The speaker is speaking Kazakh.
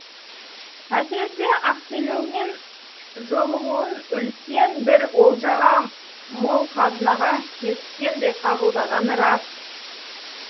әсіресе ақселеумен жолығуын үлкен бір олжаға мол қазынаға кезіккендей қабылдағаны рас